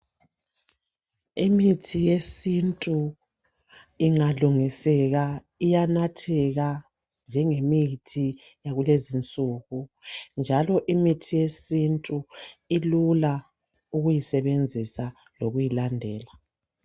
Imithi yesintu ingalungiseka iyanatheka njengemithi yakulezi insuku njalo imithi yesintu ilula ukuyisebenzisa lokuyilandela.